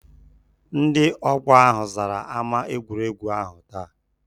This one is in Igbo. Ndị ọgbọ ahụ zara ámá egwuregwu ahụ taa.